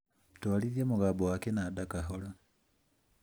twarithia mũgambo wa kĩnanda kahora